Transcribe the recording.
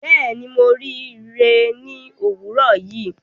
Bẹẹni, Mo rii ri rẹ ni owurọ yii